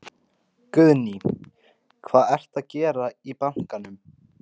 Guðný: Hvað ertu að gera í bankann?